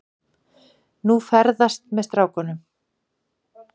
Nú, ferðast með strákunum.